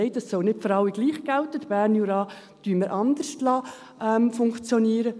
«Nein, das soll nicht für alle gleich gelten, den Berner Jura lassen wir anders funktionieren.